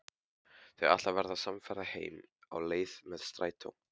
Þau ætla að verða samferða heim á leið með strætó.